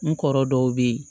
N kɔrɔ dɔw be ye